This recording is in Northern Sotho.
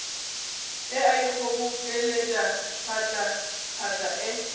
e a ikgobokeletša phatlaphatla e